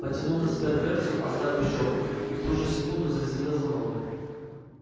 потянул на себя дверцу оставив щёлку и в ту же секунду зазвенел звонок